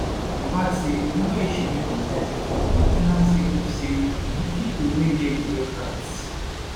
im add say anoda issue wey concern safety na main ten ance sake of say di pipo wey get di aircrafts